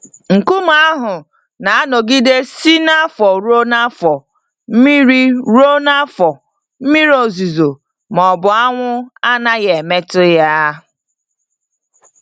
Nkume ahụ na-anọgide si n'afọ ruo n'afọ, mmiri ruo n'afọ, mmiri ozuzo ma ọ bụ anwụ anaghị emetụ ya.